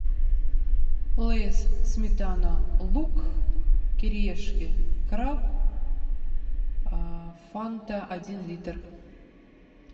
лейс сметана лук кириешки краб фанта один литр